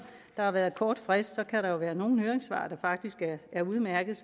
der har været en kort frist kan der være nogle høringssvar der faktisk er udmærkede